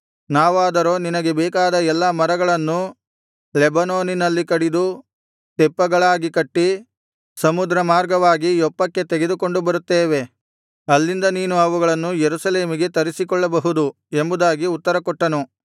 ನಾವಾದರೋ ನಿನಗೆ ಬೇಕಾದ ಎಲ್ಲಾ ಮರಗಳನ್ನು ಲೆಬನೋನಿನಲ್ಲಿ ಕಡಿದು ತೆಪ್ಪಗಳಾಗಿ ಕಟ್ಟಿ ಸಮುದ್ರ ಮಾರ್ಗವಾಗಿ ಯೊಪ್ಪಕ್ಕೆ ತೆಗೆದುಕೊಂಡು ಬರುತ್ತೇವೆ ಅಲ್ಲಿಂದ ನೀನು ಅವುಗಳನ್ನು ಯೆರೂಸಲೇಮಿಗೆ ತರಿಸಿಕೊಳ್ಳಬಹುದು ಎಂಬುದಾಗಿ ಉತ್ತರ ಕೊಟ್ಟನು